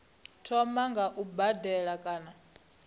thoma nga u badela kana